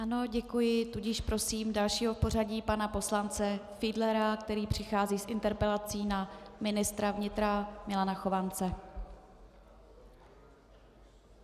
Ano, děkuji, tudíž prosím dalšího v pořadí, pana poslance Fiedlera, který přichází s interpelací na ministra vnitra Milana Chovance.